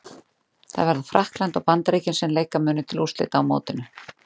Það verða Frakkland og Bandaríkin sem leika munu til úrslita á mótinu.